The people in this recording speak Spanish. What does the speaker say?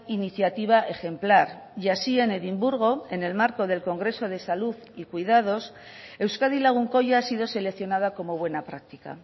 iniciativa ejemplar y así en edimburgo en el marco del congreso de salud y cuidados euskadi lagunkoia ha sido seleccionada como buena práctica